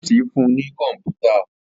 Ọ́fíìsì fún ní kọ̀mpútà